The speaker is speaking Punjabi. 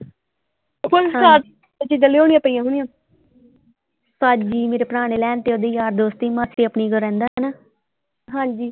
ਚੀਜ਼ਾਂ ਲਿਉਣੀਆਂ ਪਈਆਂ ਹੋਣੀਆਂ ਕਾਜੀ ਮੇਰੇ ਭਰਾ ਨੇ ਲੈ ਆਂਦੀ ਉਹਦੇ ਯਾਰ ਦੋਸਤ ਦੀ ਮਾਸੀ ਆਪਣੀ ਕੋਲ ਰਹਿੰਦਾ ਨਾ ਹਾਂਜੀ।